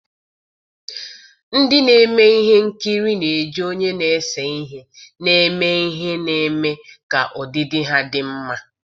ndị na-eme ihe nkiri na-eji onye na-ese ihe na-eme ihe na-eme ka ọdịdị ha dị mma.